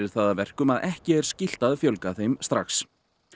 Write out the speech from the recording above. það að verkum að ekki er skylt að fjölga þeim strax